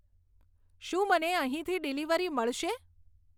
શું મને અહીંથી ડીલિવરી મળશે